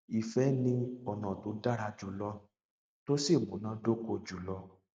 ìfẹ ni ọnà tó dára jùlọ tó sì múná dóko jùlọ